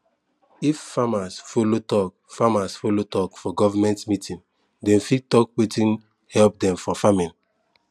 if farmers follow talk farmers follow talk for government meeting dem fit talk wetin help dem for farming